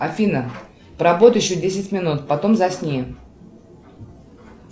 афина поработай еще десять минут потом засни